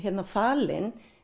falinn